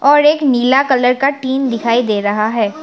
और एक नीला कलर का टीन दिखाई दे रहा है।